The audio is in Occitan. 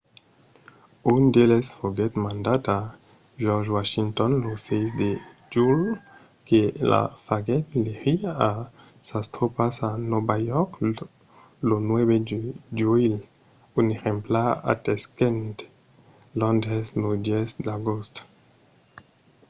un d'eles foguèt mandat a george washington lo 6 de julh que lo faguèt legir a sas tropas a nòva york lo 9 de juilh. un exemplar atenguèt londres lo 10 d'agost